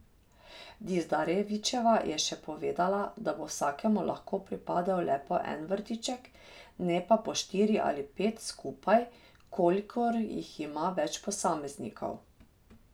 Dizdarevićeva je še povedala, da bo vsakemu lahko pripadel le po en vrtiček, ne pa po štiri ali pet skupaj, kolikor jih ima več posameznikov.